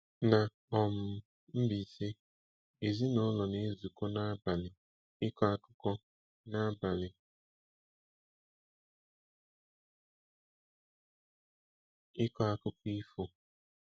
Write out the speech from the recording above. Na um Mbaise, ezinaụlọ na-ezukọ n'abalị ịkọ akụkọ n'abalị ịkọ akụkọ ifo.